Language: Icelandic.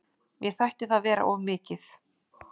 Mér þætti það vera of mikið.